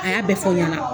A y'a bɛɛ fɔ ɲɛna